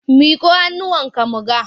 Miƙo hannunka mu ga!